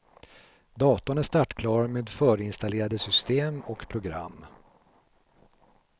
Datorn är startklar med förinstallerade system och program.